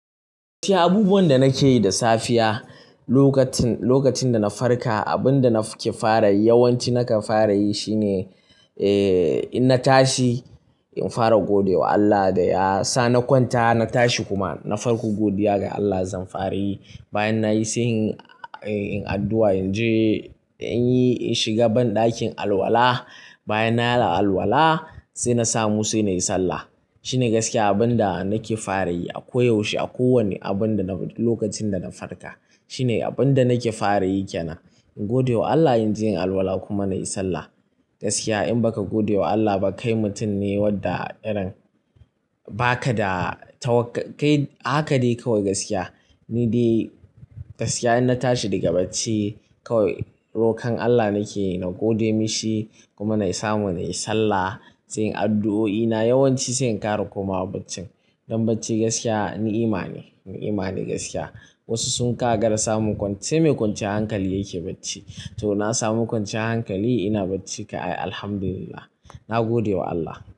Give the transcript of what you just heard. Yawan ci abubuwan da na ke yi da safiya, lokacin da na farka, abin da na ke fara yi, yawanci nakan fara yi shine, eh, in na tashi, in fara godewa Allah da ya sa na kwanta, na tashi kuma. Na farko godiya ga Allah zan fara yi. Bayan nayi, sai in yi addu'a, in je, in yi in shiga ban ɗakin alwala. Bayan na yi alwala, sai na samu, sai na yi sallah. Shi ne gaskiya abin da na ke fara yi a koyaushe a kowani abin da na, lokacin da na farka. Shi ne abin da na ke fara yi kyanan. In godewa Allah, in je in yi alwala kuma na yi sallah. Gaskiya in ba ka godewa Allah ba, kai mutum ne wadda irin ba ka da tawakkal, kai a hakadai kawai gaskiya. Ni dai gaskiya in na tashi daga bacci, kawai rokon Allah na ke yi na gode mishi kuma na samu na yi sallah, sai in yi addu'o'i na, yawanci sai in ƙara komawa bacci. Don bacci gaskiya ni'ima ne, ni'ima ne gaskiya. Wasu sun gagara samu sai mai kwanciyar hankali yake bacci. To, na samu kwanciyar hankali ina bacci ka'ai, Alhamdulillah. Na godewa Allah.